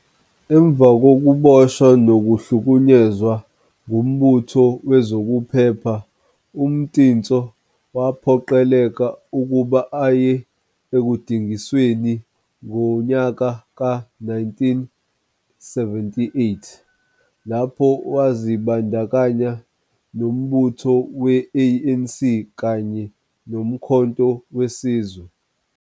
Emva kokuboshwa nokuhlukunyezwa ngumbutho wezokuphepha, uMtintso waphoqeleka ukuba aye ekudingisweni ngonyaka ka 1978, lapho wazibandakanya nombutho we ANC kanye noMkhonto Wesizwe.